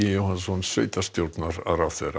Jóhannsson sveitarstjórnarráðherra